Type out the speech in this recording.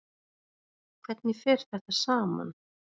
Hvernig fer þetta saman?